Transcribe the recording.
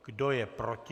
Kdo je proti?